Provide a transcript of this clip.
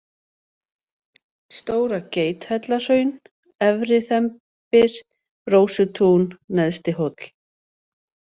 Stóra-Geithellahraun, Efri-Þembir, Rósutún, Neðstihóll